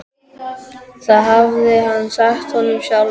Það hafði hann sagt honum sjálfur.